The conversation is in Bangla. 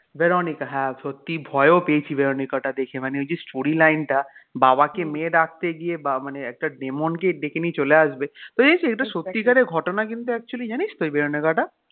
ভেরোনিকা হ্যাঁ সত্যি ভয়ও পেয়েছি ভেরনিকাটা দেখে মানে ওই যে story line টা বাবাকে মেয়ে ডাকতে গিয়ে মানে একটা demon কে ডেকে নিয়ে চলে আসবে তো এইতো এটা সত্যিকারের ঘটনা কিন্তু জানিস্ তো এই ভেরনিকা টা.